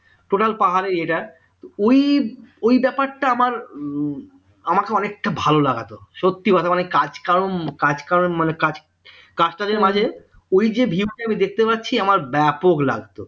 total পাহাড়ের ইয়েটা ওই ওই ব্যাপারটা আমার আমাকে অনেকটা ভালো লাগাতো সত্যি কথা মানে কাস্টার মাঝে ওই যে view টা আমি দেখতে পাচ্ছি আমার ব্যাপক লাগত